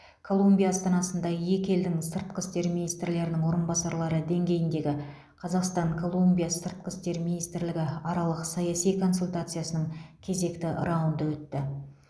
колумбия астанасында екі елдің сыртқы істер министрлерінің орынбасарлары деңгейіндегі қазақстан колумбия сыртқы істер министрлігі аралық саяси консультациясының кезекті раунды өтті